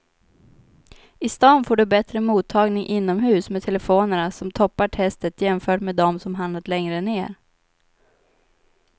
I stan får du bättre mottagning inomhus med telefonerna som toppar testet jämfört med de som hamnat längre ner.